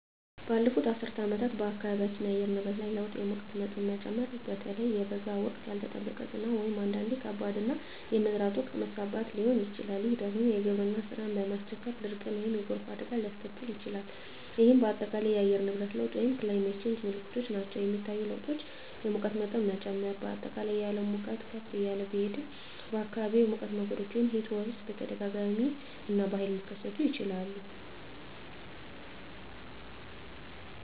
ባለፉት አስርት ዓመታት በአካባቢያችን የአየር ንብረት ላይ ለውጥ የሙቀት መጠን መጨመር (በተለይ በበጋ ወቅት)፣ ያልተጠበቀ ዝናብ (አንዳንዴም ከባድ)፣ እና የመዝራት ወቅት መዛባት ሊሆን ይችላል፤ ይህ ደግሞ የግብርና ሥራን በማስቸገር ድርቅን ወይም የጎርፍ አደጋን ሊያስከትል ይችላል፣ ይህም በአጠቃላይ የአየር ንብረት ለውጥ (Climate Change) ምልክቶች ናቸው. የሚታዩ ለውጦች: የሙቀት መጠን መጨመር: በአጠቃላይ የዓለም ሙቀት ከፍ እያለ ቢሄድም፣ በአካባቢዎም የሙቀት ሞገዶች (Heatwaves) በተደጋጋሚ እና በኃይል ሊከሰቱ ይችላሉ.